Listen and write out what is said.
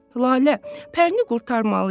Lalə, Pərini qurtarmalıyıq.